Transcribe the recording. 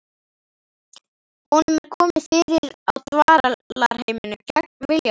Honum er komið fyrir á dvalarheimilinu gegn vilja sínum.